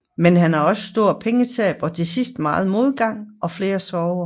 Men han havde også store pengetab og til sidst megen modgang og flere sorger